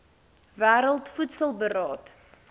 wêreld voedsel beraad